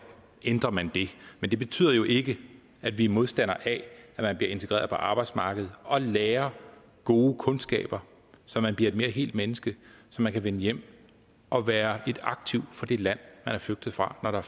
ændrer man det men det betyder jo ikke at vi er modstandere af at man bliver integreret på arbejdsmarkedet og lærer gode kundskaber så man bliver et mere helt menneske så man kan vende hjem og være et aktiv for det land man er flygtet fra når der